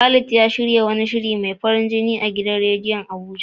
Khalid ya shirya wani shiri mai farin jini a gidan radiyo a Abuja.